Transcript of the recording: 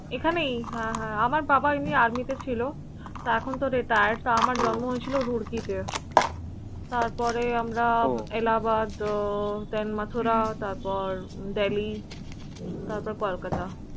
এখানেই হ্য়াঁ হ্য়াঁ আমার বাবা এমনি army তে ছিল। তা এখন তো retired তো আমার জন্ম হয়েছিল Roorkee তে। তারপরে আমরা Allahabad, ThenMathura, তারপর Delhi তারপর Kolkata